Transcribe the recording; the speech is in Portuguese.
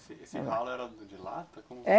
Esse esse ralo era de lata? Como